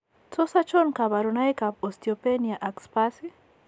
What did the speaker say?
Tos achon kabarunaik ab Osteopenia ag sparse ?